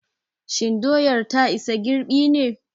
Shin doyar ta isa girɓi ne?